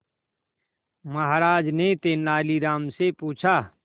महाराज ने तेनालीराम से पूछा